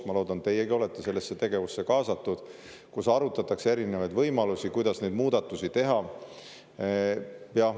Ma loodan, teiegi olete sellesse tegevusse kaasatud, kus arutatakse erinevaid võimalusi, kuidas neid muudatusi teha.